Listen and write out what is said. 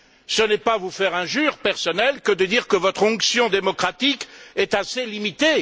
Ce n'est pas vous faire injure personnelle que de dire que votre onction démocratique est assez limitée.